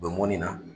U bɛ mɔnni na